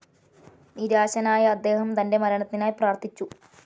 നിരാശനായ അദ്ദേഹം തൻ്റെ മരണത്തിനായി പ്രാർത്ഥിച്ചു.